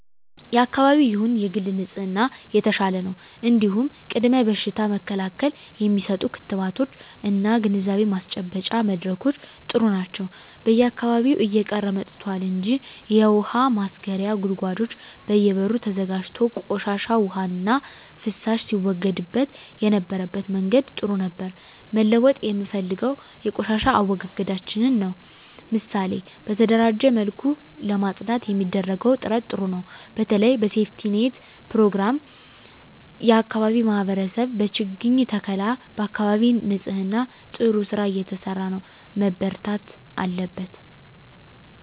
የአካባቢ ይሁን የግል ንጽህና የተሻለ ነው እንዲሁም ቅድመ በሽታ መከላከል የሚሰጡ ክትባቶች እና ግንዛቤ ማስጨበጫ መድረኮች ጥሩ ናቸው በየአካባቢው እየቀረ መጥቷል እንጂ የውሀ ማስረጊያ ጉድጓዶች በየ በሩ ተዘጋጅቶ ቆሻሻ ዉሃና ፍሳሽ ሲወገድበት የነበረበት መንገድ ጥሩ ነበር መለወጥ የምፈልገው የቆሻሻ አወጋገዳችንን ነው ምሳሌ በተደራጀ መልኩ ለማፅዳት የሚደረገው ጥረት ጥሩ ነው በተለይ በሴፍትኔት ፕሮግራም የአካባቢ ማህበረሰብ በችግኝ ተከላ በአካባቢ ንፅህና ጥሩ ስራ እየተሰራ ነው መበርታት አለበት